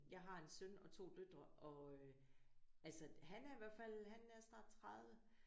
Jeg har en søn og 2 døtre og øh altså han er i hvert fald han er snart 30